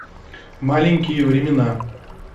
маленькие времена